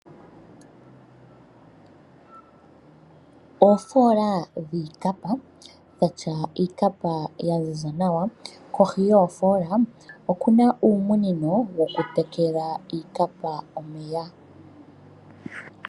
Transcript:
Oofola dhiikapa dhatya iikapa yaziza nawa, kohi yoofola okuna uumunino wokutekela iikapa omeya.